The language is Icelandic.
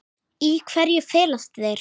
Í hverju felast þeir?